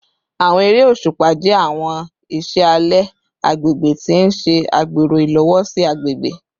Awọn ere oṣupa jẹ awọn iṣẹ alẹ agbegbe ti n ṣe agbero ilowosi agbegbe